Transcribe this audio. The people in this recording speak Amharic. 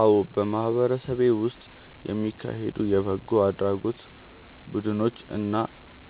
አዎ፣ በማህበረሰቤ ውስጥ የሚካሄዱ የበጎ አድራጎት ቡድኖች እና